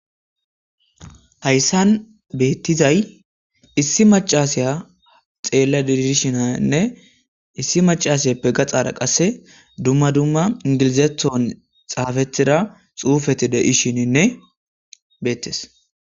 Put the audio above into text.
hayssan beettizay issi macasiya xeella didishinanne issi macasiyeppe gaxara qasse dumma dumma ingilizethon xaafethida xuufeti deishininne beettes